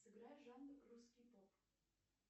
сыграй жанр русский поп